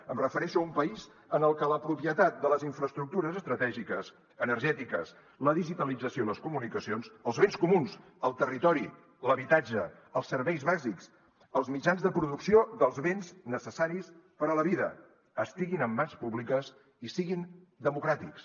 em refereixo a un país en el que la propietat de les infraestructures estratègiques energètiques la digitalització i les comunicacions els béns comuns el territori l’habitatge els serveis bàsics els mitjans de producció dels béns necessaris per a la vida estiguin en mans públiques i siguin democràtics